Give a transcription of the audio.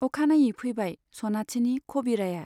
अखानायै फैबाय सनाथिनि खबिराया।